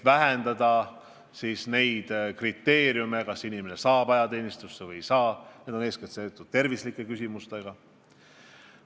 Selleks tuleb leevendada kriteeriume, kas inimene saab ajateenistusse või ei saa, need kriteeriumid on eeskätt seotud terviseküsimustega.